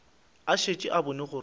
a šetše a bone gore